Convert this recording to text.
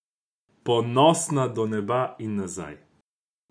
Ponosna do neba in nazaj.